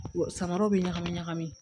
Samaraw bɛ ɲagami ɲagami